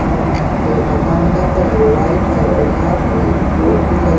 और यहाँ पे मकान का कलर वाइट है और यहाँ पे एक बोर्ड भी लगा --